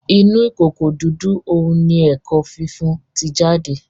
Inú ìkòkò dúdú òún ní ẹko fífún tí jáde